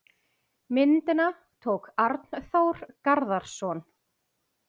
Myndina tók Arnþór Garðarsson.